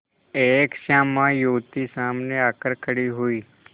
एक श्यामा युवती सामने आकर खड़ी हुई